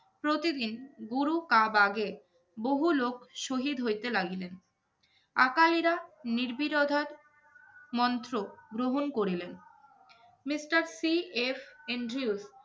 প্রতিদিন গুরু-কাবাগে বহু লোক শহিদ হইতে লাগিলেন। আকালিরা নির্বিরোধার মন্ত্র গ্রহণ করিলেন। mister C. F. এন্ড্রিউলফ